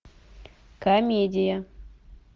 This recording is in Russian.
комедия